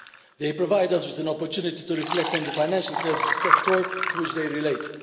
They provide us with an opportunity to reflect on the financial services sector, to which they relate.